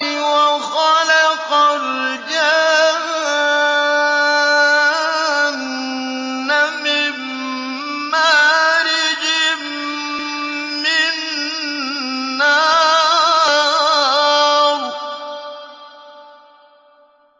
وَخَلَقَ الْجَانَّ مِن مَّارِجٍ مِّن نَّارٍ